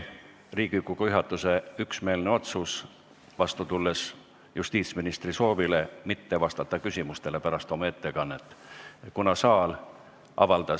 Riigikogu juhatuse üksmeelne otsus oli, vastu tulles justiitsministri soovile, et ta ei peaks pärast oma ettekannet küsimustele vastama.